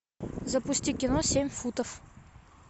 запусти кино семь футов